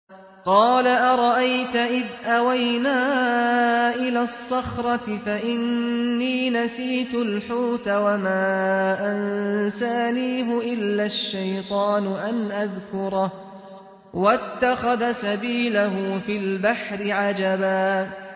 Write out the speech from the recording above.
قَالَ أَرَأَيْتَ إِذْ أَوَيْنَا إِلَى الصَّخْرَةِ فَإِنِّي نَسِيتُ الْحُوتَ وَمَا أَنسَانِيهُ إِلَّا الشَّيْطَانُ أَنْ أَذْكُرَهُ ۚ وَاتَّخَذَ سَبِيلَهُ فِي الْبَحْرِ عَجَبًا